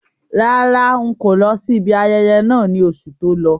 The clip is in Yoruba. Rárá, n̄ kò lọ sí ibi ayẹyẹ náà ní oṣù tó lọ.